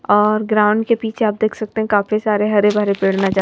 और ग्राउंड के पीछे आप देख सकते हैंकाफी सारे हरे भरे पेड़ नजर।